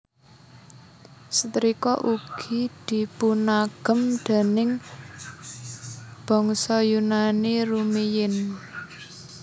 Setrika ugi dipunagem déning bangsa Yunani rumiyin